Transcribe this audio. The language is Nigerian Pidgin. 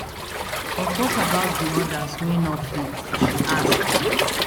but what about di odas wey no fit she ask